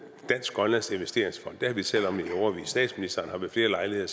dansk grønlandske investeringsfond den har vi talt om i årevis at statsministeren ved flere lejligheder